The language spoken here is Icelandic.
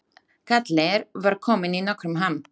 Kallinn var komin í nokkurn ham.